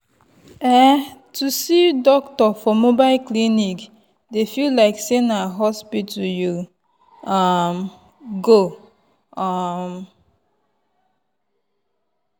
ehh to see doctor for mobile clinic dey feel like say na hospital you um go. um